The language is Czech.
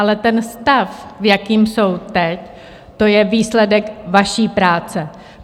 Ale ten stav, v jakém jsou teď, to je výsledek vaší práce.